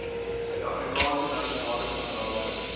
suidafrikaanse nasionale standaarde